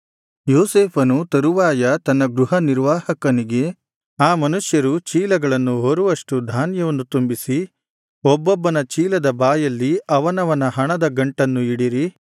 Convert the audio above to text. ಯೋಸೇಫನು ತರುವಾಯ ತನ್ನ ಗೃಹನಿರ್ವಾಹಕನಿಗೆ ಆ ಮನುಷ್ಯರು ಚೀಲಗಳನ್ನು ಹೊರುವಷ್ಟು ಧಾನ್ಯವನ್ನು ತುಂಬಿಸಿ ಒಬ್ಬೊಬ್ಬನ ಚೀಲದ ಬಾಯಲ್ಲಿ ಅವನವನ ಹಣದ ಗಂಟನ್ನು ಇಡಿರಿ